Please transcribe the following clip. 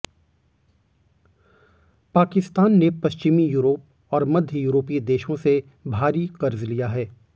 पाकिस्तान ने पश्चिमी यूरोप और मध्य यूरोपीय देशों से भारी कर्ज लिया है